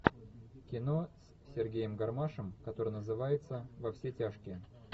кино с сергеем гармашем которое называется во все тяжкие